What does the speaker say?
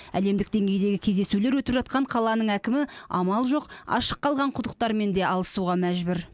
әлемдік деңгейдегі кездесулер өтіп жатқан қаланың әкімі амал жоқ ашық қалған құдықтармен де алысуға мәжбүр